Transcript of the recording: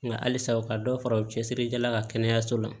Nka halisa u ka dɔ fara u cɛsirijɛlaw ka kɛnɛyaso la